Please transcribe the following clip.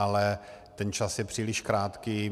Ale ten čas je příliš krátký.